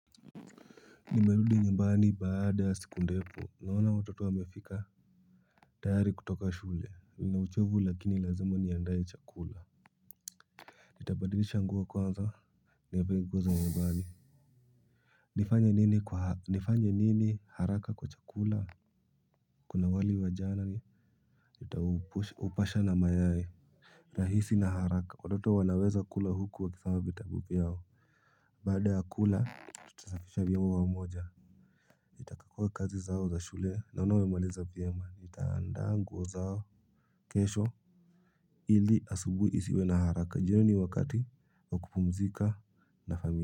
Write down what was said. Nimerudi nyumbani baada ya siku ndefu naona watoto wamefika. Tayari kutoka shule nina uchovu lakini lazima niandae chakula. Nitabadilisha nguo kwanza. Nivae nguo za nyumbani. Nifanye nini haraka kwa chakula kuna wali wa jana. Nitaupasha na mayai. Rahisi na haraka watoto wanaweza kula huku wakifanya vitabuvyao. Baada ya kula tutasafisha nyumba pamoja nitakagua kazi zao za shule naona wemaliza vyema. Nitaandaa nguo zao. Kesho ili asubuhi isiwe na haraka. Jioni ni wakati wa kupumzika na familia.